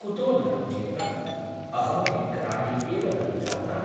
कुतो न रोचेत ? अहमपि ग्रामे एव ननु जाता ?